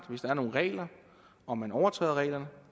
hvis der er nogle regler og man overtræder reglerne